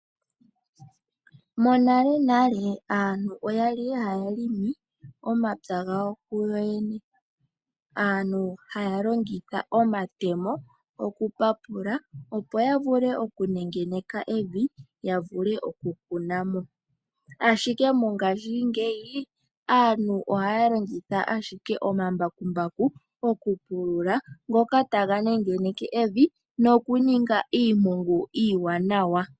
Monalenale, aantu oya li haya longo omapya gawo kuyoyene. Aantu oyali haya longitha omatemo kokupapula, ano okunengeneka evi opo ya vule okukuna mo. Mongashingeyi aantu ohaya longitha omambakumbaku mokupulula, ngoka taga nengeneke evi nokuninga iimpungu iiwanawa.